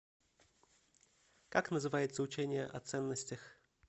как называется учение о ценностях